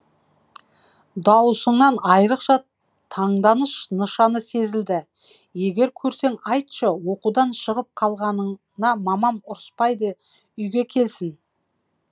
даусынан айрықша таңданыс нышаны сезілді егер көрсең айтшы оқудан шығып қалғанына мамам ұрыспайды үйге келсін